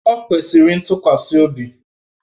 O kwesịrị ntukwasi obi?